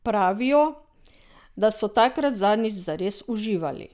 Pravijo, da so takrat zadnjič zares uživali.